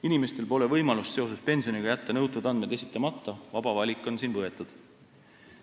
Inimestel pole võimalust seoses pensioniga jätta nõutud andmeid esitamata, vaba valik on siin võetud.